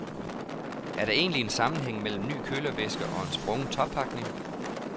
Er der egentlig en sammenhæng mellem ny kølervæske og en sprungen toppakning?